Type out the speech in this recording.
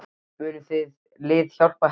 Mun það lið hjálpa Hetti til langs tíma litið?